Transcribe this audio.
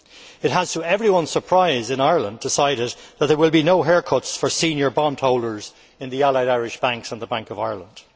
It has, to everyone's surprise in Ireland, decided that there will be no haircuts for senior bond holders in the Allied Irish Bank and the Bank of Ireland.